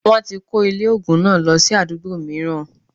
Wọ́n ti kó ilé ògùn náà lọ sí àdúgbò mìíràn